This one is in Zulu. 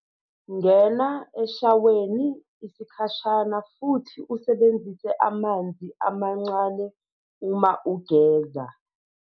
Ngena eshaweni isikhashana futhi usebenzise amanzi amancane uma ugeza.